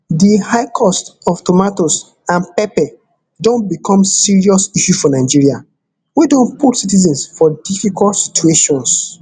di high cost of tomatoes and pepper don become serious issue for nigeria wey don put citizens for difficult situation